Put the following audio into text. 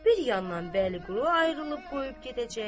Bir yandan Bəliqulu ayrılıb qoyub gedəcək.